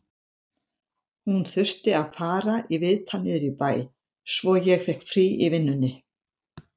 Hún þurfti að fara í viðtal niður í bæ, svo ég fékk frí í vinnunni